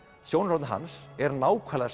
aðsjónarhorn hans er nákvæmlega